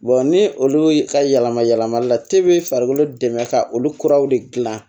ni olu y' ka yɛlɛma yɛlɛmali la bi farikolo dɛmɛ ka olu kuraw de gilan